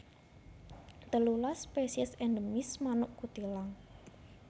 Telulas spesies endemis manuk kutilang